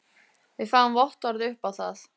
Við fáum vottorð upp á það.